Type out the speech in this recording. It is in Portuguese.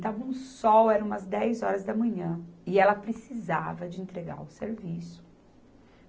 Estava um sol, eram umas dez horas da manhã, e ela precisava de entregar o serviço.